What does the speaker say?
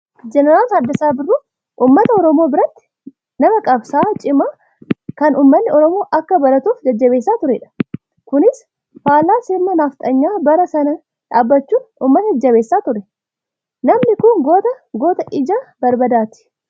Jeneraal Taaddasaa Birruu uummata oromoo biratti na qabsaa'aa cimaa kan uummanni oromoo akka baratuuf jajjabeessaa turedha. Kunis faallaa sirna nafxanyaa bara sanaa dhaabbachuun uummata jajjabeessaa ture. Namni kun goota, goota ija barbaadaati.